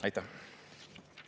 Aitäh!